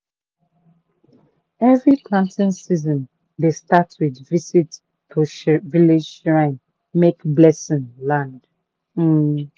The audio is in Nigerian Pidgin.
every planting season dey start with visit to village shrine make blessing land. um